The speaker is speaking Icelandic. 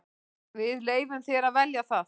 Við leyfum þér að velja það.